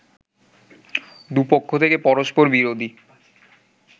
দু'পক্ষ থেকে পরষ্পরবিরোধী